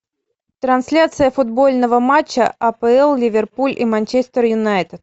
трансляция футбольного матча апл ливерпуль и манчестер юнайтед